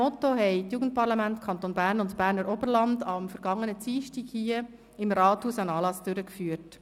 Die Jugendparlamente Kanton Bern und Berner Oberland haben am vergangenen Dienstag hier im Rathaus einen Anlass durchgeführt.